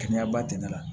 Kɛnɛya ba tɛ ne la